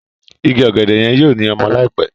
Ìgi ògèdè yen yóò ní ọmọ láìpé.